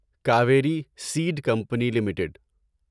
Kaveri seed company limited